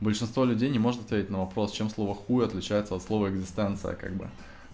большинство людей не может ответить на вопрос чем слово хуй отличается от слова экзистенция как бы